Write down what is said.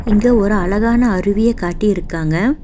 இங்க ஒரு அழகான அருவிய காட்டியிருக்காங்க.